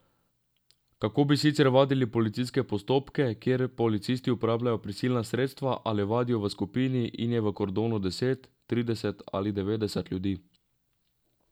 Kako bi sicer vadili policijske postopke, kjer policisti uporabljajo prisilna sredstva ali vadijo v skupini in je v kordonu deset, trideset ali devetdeset ljudi?